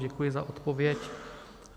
Děkuji za odpověď.